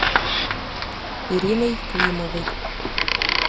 ириной климовой